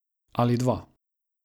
Ali dva.